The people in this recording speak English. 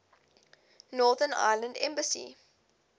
northern ireland assembly